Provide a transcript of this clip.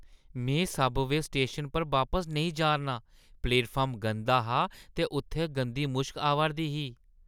में उस subway station पर बापस नेईं जा'रना आं। प्लेटफार्म गंदा हा ते उत्थै गंदी मुश्क आवा'रदी ही।